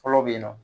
Fɔlɔ bɛ yen nɔ